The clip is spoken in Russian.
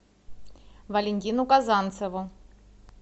валентину казанцеву